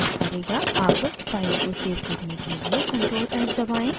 अब फाइल को सेव करने के लिए ctrl+s दबाएं